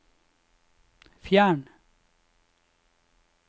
fjern